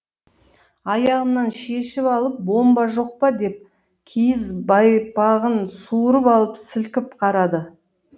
аяғымнан шешіп алып бомба жоқ па деп киіз байпағын суырып алып сілкіп қарады